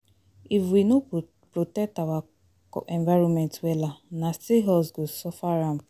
If we no protect our environment wella, na still us go suffer am